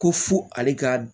Ko fo ale ka